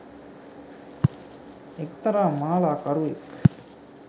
එක්තරා මාලාකරුවෙක්